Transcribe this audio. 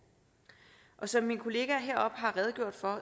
som mine kollegaer har redegjort for